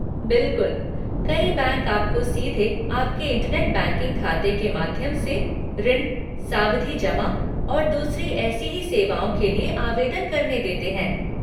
बिलकुल, कई बैंक आपको सीधे आपके इंटरनेट बैंकिंग खाते के माध्यम से ऋण, सावधि जमा और दूसरी एसी ही सेवाओं के लिए आवेदन करने देते हैं।